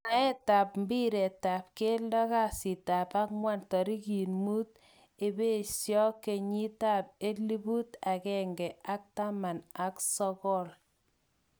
Mwaetap mbiretap geldo kasitap ang'wan, tarik muut ebeeso kenyit ap elput agenge ak taman ak sokol